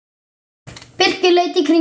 Birkir leit í kringum sig.